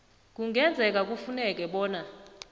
kungenzeka kufuneke bona